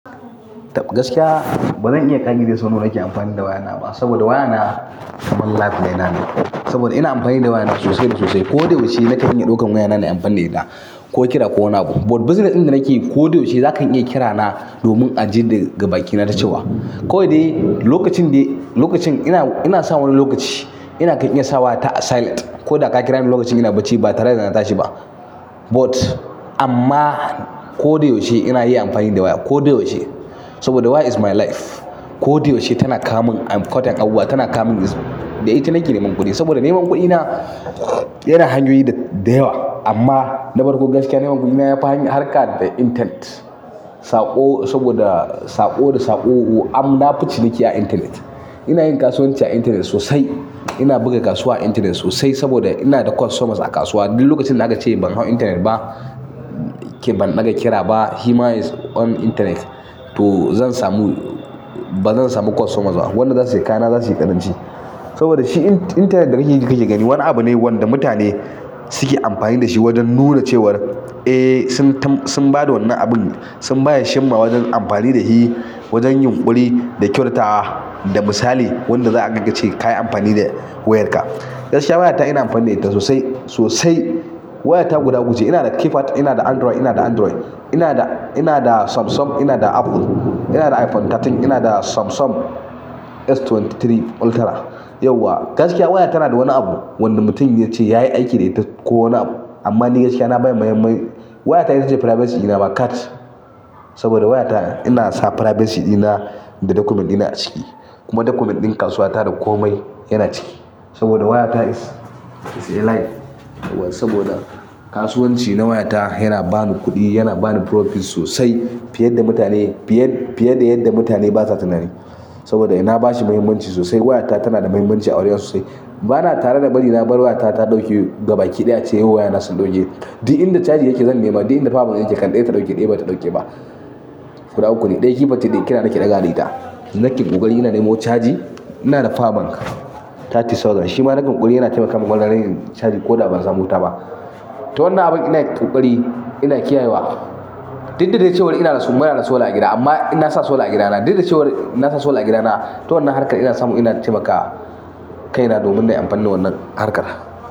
Gaskiya bazan iya ƙirge wa sau nawa nake amfani da wayana ba saboda wayana kaman life ɗina ne. Saboda ina amfani da wayana sosai da sosai. Ko da yaushe nakan iya ɗaukan wayana nayi amfanin da ita ko kira ko wane abu. But bizines ɗin da nake yi ko da yaushe zaka iya kira na domin a ji daga bakina nacewa. Kawai dai lokacin da, lokacin ina, ina sawa wani lokaci ina kai in iya sawa ta a silent ko da ka kira ni lokacin ina bacci ba tare da na tashi ba. But amma ko da yaushe ina yin amfani da waya, ko da yaushe saboda waya is my life. Ko da yaushe tana kawo min important abuwa tana kawo min is, dai ita nake neman kuɗi saboda neman kuɗina yana hanyoyi da yawa amma na farko gaskiya neman kuɗi na na fi harka da intanet. Saƙo saboda saƙo da saƙo'u am na fi ciniki a internet. Ina yin kasuwanci a internet sosai. Ina buga kasuwa a internet sosai saboda ina da customers a kasuwa. Duk lokacin da aka ce min ban hau internet ba ke ban ɗaga kira ba, he ma is on internet to zan samu, bazan samu customers ba. Wanda za su sayi kaya na za su yi ƙaranci saboda shi internet da kake gani wani gani wani abu ne wanda mutane suke amfani da shi wajen nuna cewar eh sun tam, sun ba da wannan abun, sun baya shimma wajen amfani da shi wajen yunkuri da kyautata da misali wanda za a dinga ce kayi amfani da wayarka. Gaskiya wayata ina amfani da ita sosai, sosai. Wayata guda uku ina da keypad, ina da Android, ina da Android, ina da, ina da Samsung, ina da Apple, ina da iPhone sha uku, ina da Samsung S ashirin da uku Ultra. Yauwa gaskiya waya tana da wani abu wanda mutum ya ce yayi aiki da ita ko wani abu amma ni gaskiya na ba shi muhimmai. Wayata ita ce privacy ɗina ma kat saboda waya ta ina sa privacy ɗina da document ɗina a ciki kuma document ɗin kasuwa ta komai yana ciki saboda waya ta is a life saboda kasuwanci na waya ta yana bani kuɗi, yana bani profit sosai fiye da yadda mutane basa tunani. Saboda na ba shi muhimmanci sosai. Wayata tana da muhimmanci a wurina sosai. Bana tare da bari na bar wayata ta ɗauke gabaki ɗaya a ce yau wayana sun ɗauke. Duk inda charge yake zan nema, duk inda power yake kan ɗaya ta ɗauke, ɗaya bata ɗauke ba. Gudu uku ne, ɗaya keypad take, kira nake ɗagawa da ita. Nake ƙokari ina nemo charge, ina da power bank thirty thousand. Shi ma nagan kuɗi yana taimaka mun wannan na yin charge ko da ban samu wuta ba. To wannan abin ina yin ƙoƙari, ina kiyayewa. Duk da dai cewar ina da su muna da solar a gida amma in na sa solar a gidana. Duk da cewar na sa solar a gidana, ta wannan harkar ina samu ina taimaka kaina domin na yi amfani da wannan harkar.